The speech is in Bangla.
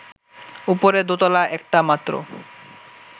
ওপরে দোতলা একটা মাত্র